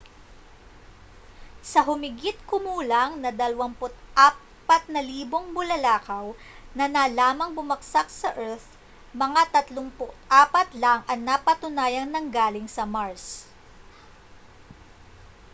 sa humigit-kumulang na 24,000 bulalakaw na nalamang bumagsak sa earth mga 34 lang ang napatunayang nanggaling sa mars